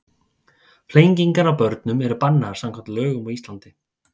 Flengingar á börnum eru bannaðar samkvæmt lögum á Íslandi.